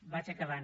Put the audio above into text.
vaig acabant